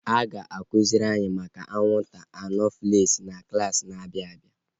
A ga akụziri anyị maka anwụnta anofels na klaasị na-abịa